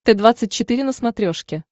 т двадцать четыре на смотрешке